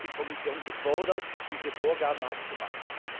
Hier ist die Kommission gefordert, diese Vorgaben zu machen.